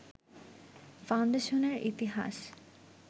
ফাউন্ডেশনের ইতিহাস